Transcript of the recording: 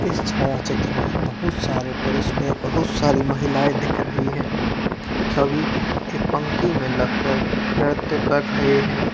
इस छाया चित्र में बहुत सारे पुरुष पे बहुत सारी महिलाये दिख रही है। सभी एक पंक्ति में लग कर नृत्य कर रहे है।